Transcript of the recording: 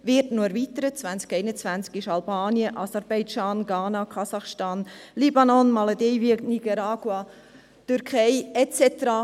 2020 werden Albanien, Aserbaidschan, Ghana, Kasachstan, Libanon, Malediven, Nicaragua, Türkei et cetera.